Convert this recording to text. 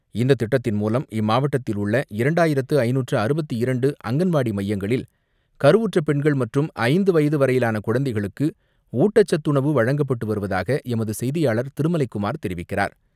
இந்த திட்டத்தின் மூலம் இம்மாவட்டத்தில் உள்ள இரண்டாயிரத்து ஐநூற்று அறுபத்தி இரண்டு அங்கன்வாடி மையங்களில், கருவுற்ற பெண்கள் மற்றும் ஐந்து வயது வரையிலான குழந்தைகளுக்கு ஊட்டச்சத்துணவு வழங்கப்பட்டு வருவதாக எமது செய்தியாளர் திருமலைக்குமார் தெரிவிக்கிறார்.